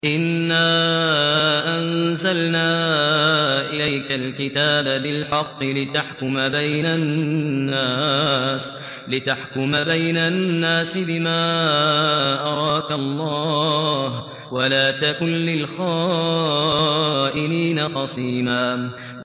إِنَّا أَنزَلْنَا إِلَيْكَ الْكِتَابَ بِالْحَقِّ لِتَحْكُمَ بَيْنَ النَّاسِ بِمَا أَرَاكَ اللَّهُ ۚ وَلَا تَكُن لِّلْخَائِنِينَ خَصِيمًا